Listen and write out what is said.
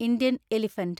Indian elephant